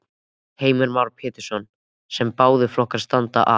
Heimir Már Pétursson: Sem báðir flokkar standa að?